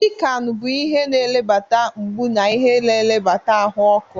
Piccan bụ ihe na-ebelata mgbu na ihe na-ebelata ahụ ọkụ.